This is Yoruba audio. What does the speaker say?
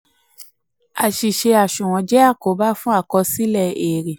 àṣìṣe aṣunwon jẹ́ àkóbá fún àkọsílẹ um àti àkọsílẹ èrè.